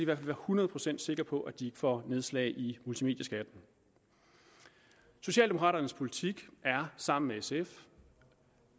være hundrede procent sikre på at de får nedslag i multimedieskatten socialdemokraternes politik er sammen med sf